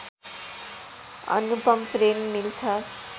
अनुपम प्रेम मिल्छ